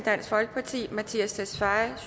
mattias tesfaye